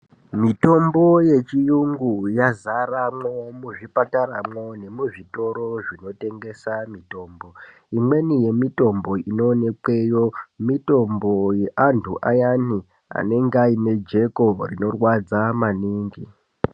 Mitombo yechiyungu yazaramwo mwuzvipataramwo nemuzvitoro zvinotengesa mitombo. Imweni yemitombo inoonekwemo mitombo yeantu ayani anenge ane jeko rinorwadza maningi.